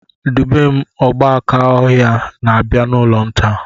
Dubem "Ogbákà ọhịa" na-abia n'ụlọ m taa